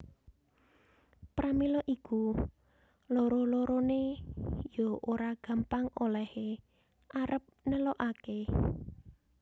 Pramila iku loro loroné ya ora gampang olèhé arep nelukaké